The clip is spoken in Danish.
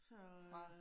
Så